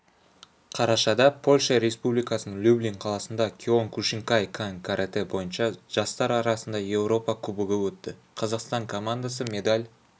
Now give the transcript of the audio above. қарашада польша республикасының люблин қаласында киокушинкай-кан каратэ бойынша жастар арасында еуропа кубогы өтті қазақстан командасы медаль